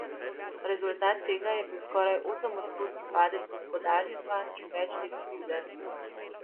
Rezultat tega je bil skoraj osemodstotni padec gospodarstva in več let krize.